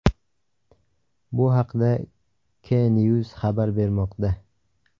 Bu haqda KNews xabar bermoqda .